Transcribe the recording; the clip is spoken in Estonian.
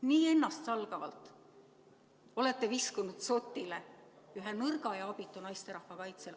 Nii ennastsalgavalt olete viskunud dzotile ühe nõrga ja abitu naisterahva kaitsel.